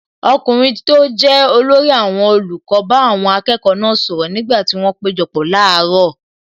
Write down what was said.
Ọkùnrin tó jẹ́ olórí àwọn olùkọ́ bá àwọn akẹ́kọ̀ọ́ náà sọ̀rọ̀ nígbà tí wọn péjọpọ̀ láàárọ̀.